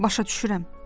Başa düşürəm.